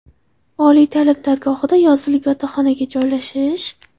Oliy ta’lim dargohida yozilib, yotoqxonaga joylashish.